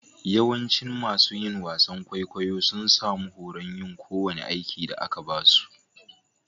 Yawancin masun yin wasan kwaikwayo sun samu horon yin ko wani aiki da aka ba su.